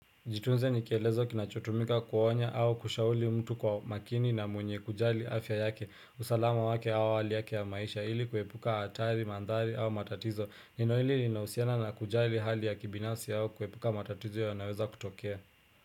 Jitunze ni kielezo kinachotumika kuonya au kushauri mtu kwa makini na mwenye kujali afya yake, usalama wake au hali yake ya maisha ili kuepuka hatari, mandhari au matatizo, neno hili linahusiana na kujali hali ya kibinafsi au kuepuka matatizo yanaoweza kutokea.